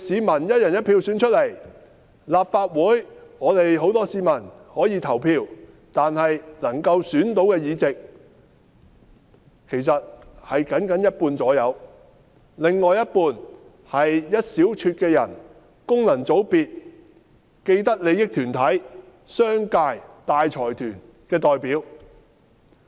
至於立法會議員，很多市民可以投票選出，但他們能選的議席僅僅有一半而已，另一半是一小撮的人，功能界別、既得利益團體、商界、大財團的代表。